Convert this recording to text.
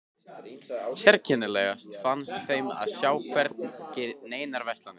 Sérkennilegast fannst þeim að sjá hvergi neinar verslanir.